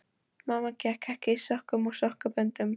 Mamma gekk ekki í sokkum og sokkaböndum.